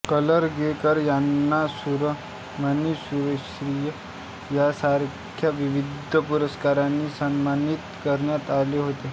करलगीकर यांना सूरमणी सूरश्री यांसारख्या विविध पुरस्कारांनी सन्मानित करण्यात आले होते